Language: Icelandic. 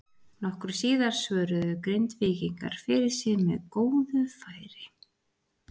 Nokkru síðar svöruðu Grindvíkingar fyrir sig með góðu færi.